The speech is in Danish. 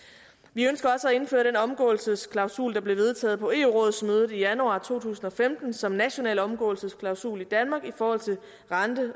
vi ønsker også at indføre den omgåelsesklausul der blev vedtaget på eu rådsmødet i januar to tusind og femten som en national omgåelsesklausul i danmark i forhold til rente